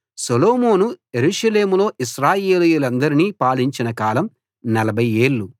సొలొమోను యెరూషలేములో ఇశ్రాయేలీయులందరినీ పాలించిన కాలం 40 ఏళ్ళు